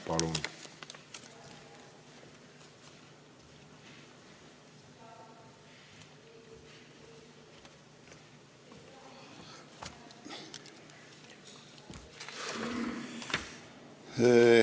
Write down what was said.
Palun!